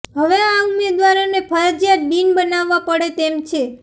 હવે આ ઉમેદવારોને ફરજિયાત ડીન બનાવવા પડે તેમ છે